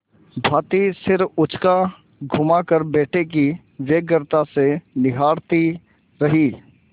भाँति सिर उचकाघुमाकर बेटे को व्यग्रता से निहारती रही